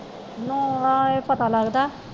ਨੂੰਹ ਨਾਲ ਹੀ ਪਤਾ ਲੱਗਦਾ